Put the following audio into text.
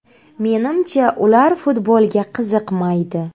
Menimcha, ular futbolga qiziqmaydi.